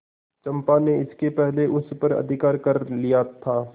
चंपा ने इसके पहले उस पर अधिकार कर लिया था